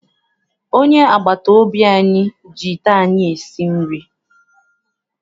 Onye agbataobi anyị ji ite anyị esi nri.